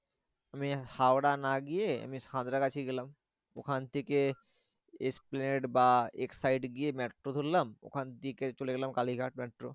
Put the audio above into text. আমি হাওড়া না গিয়ে আমি সাঁতরাগাছি গেলাম ওখান থেকে এস্প্লানেড বা এক্সসাইড গিয়ে মেট্রো ধরলাম ওখান থেকে চলে গেলাম কালীঘাট মেট্রো।